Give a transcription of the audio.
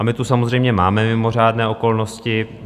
A my tu samozřejmě máme mimořádné okolnosti.